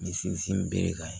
N sinsin berekan ye